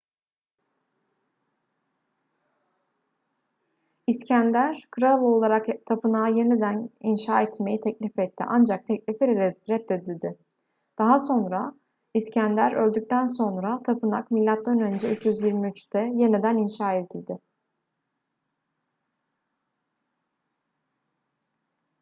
i̇skender kral olarak tapınağı yeniden inşa etmeyi teklif etti ancak teklifi reddedildi. daha sonra i̇skender öldükten sonra tapınak m.ö. 323'te yeniden inşa edildi